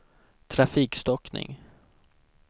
trafikstockning